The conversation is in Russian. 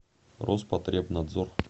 роспотребнадзор